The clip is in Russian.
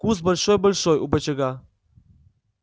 куст большой-большой у бочага